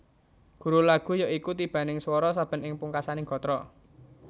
Guru lagu ya iku tibaning swara saben ing pungkasaning gatra